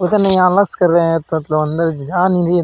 पता नही आलस कर रहे है। अंदर जा --